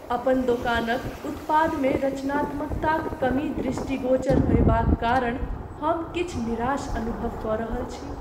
अपन दोकानक उत्पादमे रचनात्मकताक कमी दृष्टिगोचर होएबाक कारण हम किछु निराश अनुभव कऽ रहल छी।